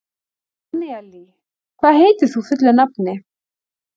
Annelí, hvað heitir þú fullu nafni?